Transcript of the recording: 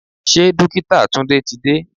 Ṣé Dókítà Tunde ti dé?